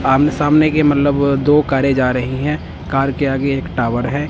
आमने सामने के मतलब दो कारे जा रही हैं कार के आगे एक टावर है।